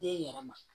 Den yɛrɛ ma